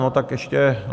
No, tak ještě...